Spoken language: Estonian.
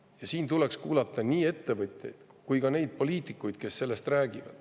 Ja siin tuleks kuulata nii ettevõtjaid kui ka neid poliitikuid, kes sellest räägivad.